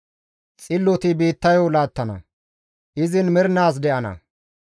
Xilloti biittayo laattana; izin mernaas de7ana.